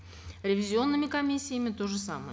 ревизионными комиссиями то же самое